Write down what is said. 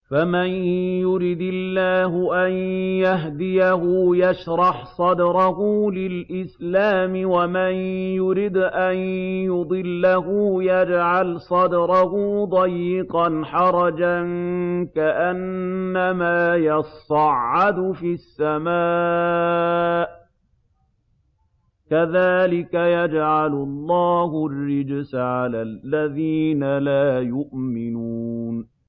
فَمَن يُرِدِ اللَّهُ أَن يَهْدِيَهُ يَشْرَحْ صَدْرَهُ لِلْإِسْلَامِ ۖ وَمَن يُرِدْ أَن يُضِلَّهُ يَجْعَلْ صَدْرَهُ ضَيِّقًا حَرَجًا كَأَنَّمَا يَصَّعَّدُ فِي السَّمَاءِ ۚ كَذَٰلِكَ يَجْعَلُ اللَّهُ الرِّجْسَ عَلَى الَّذِينَ لَا يُؤْمِنُونَ